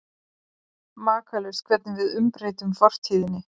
Makalaust hvernig við umbreytum fortíðinni.